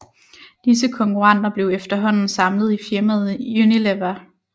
Disse konkurrenter blev efterhånden samlet i firmaet Unilever